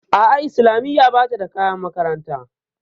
A'a islamiya bata da kayan makaranta